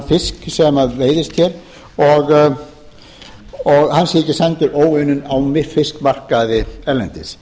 fisk sem veiðist hér og hann sé ekki sendur óunninn á fiskmarkaði erlendis